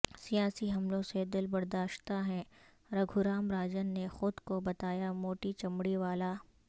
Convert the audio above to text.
سیاسی حملوں سے دلبرداشتہ ہیں رگھو رام راجن نے خود کو بتایا موٹی چمڑی والا